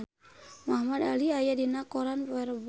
Muhamad Ali aya dina koran poe Rebo